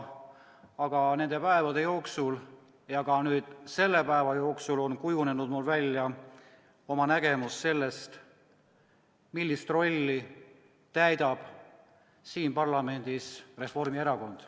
Aga nende päevade jooksul ja ka nüüd selle päeva jooksul on mul kujunenud välja oma nägemus sellest, millist rolli täidab siin parlamendis Reformierakond.